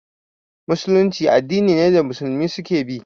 Musulunci addini ne da Musulmi su ke bi